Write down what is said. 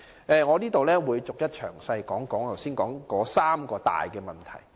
以下我會逐一詳細談論剛才提到的三大問題。